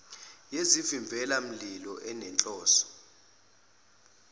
yezivimbela mililo enenhloso